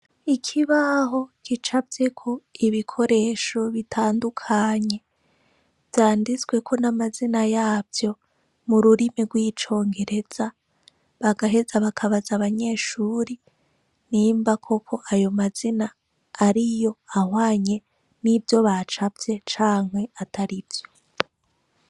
Ikibaho gicafyeko ibikoresho bitandukanye, vyanditsweko n'amazina yavyo mu rurimi rw'icongereza, bagaheza bakabaza abanyeshuri nimba koko ayo mazina ariyo ahwanye n'ivyo bacafye canke atari vyo.